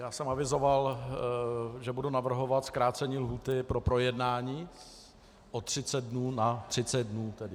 Já jsem avizoval, že budu navrhovat zkrácení lhůty pro projednání o 30 dnů na 30 dnů tedy.